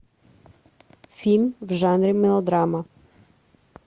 фильм в жанре мелодрама